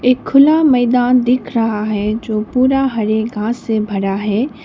एक खुला मैदान दिख रहा है जो पूरा हरे घास से भरा है।